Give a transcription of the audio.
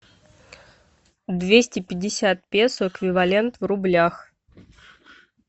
двести пятьдесят песо эквивалент в рублях